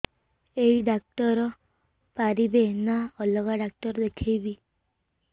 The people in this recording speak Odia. ଏଇ ଡ଼ାକ୍ତର ପାରିବେ ନା ଅଲଗା ଡ଼ାକ୍ତର ଦେଖେଇବି